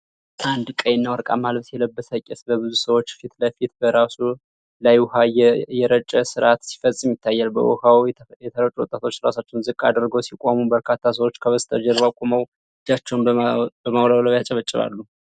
አንድ ቀይና ወርቃማ ልብስ የለበሰ ቄስ በብዙ ሰዎች ፊት ለፊት በራሱ ላይ ውሃ እየረጨ ሥርዓት ሲፈጽም ይታያል። በውኃው የተረጩት ወጣቶች ራሳቸውን ዝቅ አድርገው ሲቆሙ፤ በርካታ ሰዎች ከበስተጀርባው ቆመው እጃቸውን በማውለብለብ ያጨበጭባሉ።